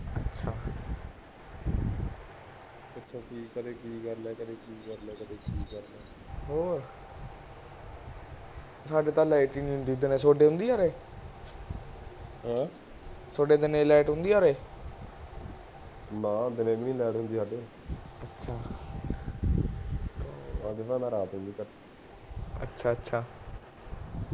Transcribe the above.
ਅੱਛਾ ਅੱਛਾ